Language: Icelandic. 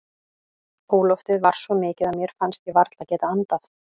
Óloftið var svo mikið að mér fannst ég varla geta andað.